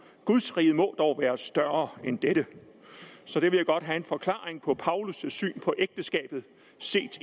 gudsriget må dog være større end dette så det vil jeg godt have en forklaring på altså paulus syn på ægteskabet set i